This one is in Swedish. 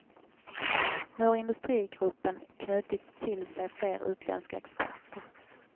Nu har industrigruppen knutit till sig fler utländska experter.